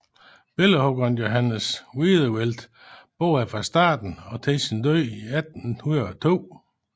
Billedhuggeren Johannes Wiedewelt boede her fra starten og til sin død i 1802